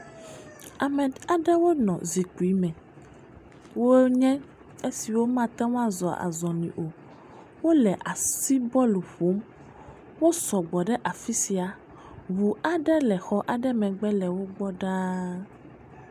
…me aɖewo nɔ zikpui me, wonye esiwo mate ŋu azɔ azɔli o, wole asi bɔlu ƒom. Wo sɔgbɔ ɖe afi sia. Ŋu aɖe le xɔ aɖe megbe lewo gbɔ ɖaa.